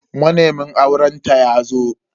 Manemin aurenta yazo.